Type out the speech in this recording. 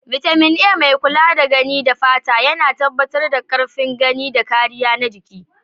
Bitamin A, mai kula da gani da fata, yana tabbatar da karfin gani da kariya na jiki.